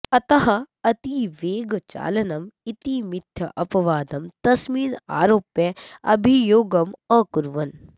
अतः अतिवेगचालनम् इति मिथ्यापवादं तस्मिन् आरोप्य अभियोगम् अकुर्वन्